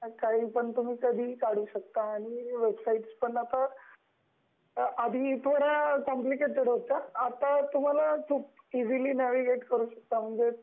आहे काही पण तुम्ही कधीही काढू शकता वेबसाईट्स पण आधी तर खूप कॉम्प्लिकेटेड होत्या, आता तुम्हाला खुप इसिली न्हावीगेट करू शकता, त्याच्यावरती